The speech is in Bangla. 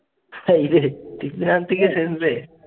হায়রে। থেকে